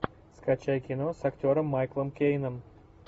скачай кино с актером майклом кейном